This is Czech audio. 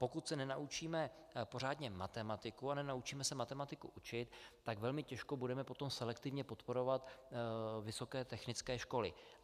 Pokud se nenaučíme pořádně matematiku a nenaučíme se matematiku učit, tak velmi těžko budeme potom selektivně podporovat vysoké technické školy.